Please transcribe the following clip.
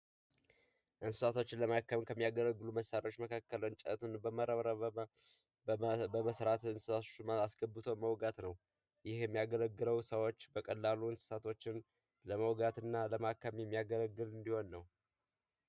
እንስሳቶችን ለማከም ከሚያገለግሉ መሳሪያዎች መካከል እንጨትን በመረባረብ በመስራት እሱን አስገብቶ መዋጋት ነው። ይህ የሚያገለግለው ሰዎች በቀላሉ እንስሳቶችን ለመውጋትና ለማከም የሚያገለግል እንዲሆን ነው።